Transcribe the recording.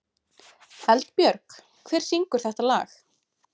Eldbjörg, hver syngur þetta lag?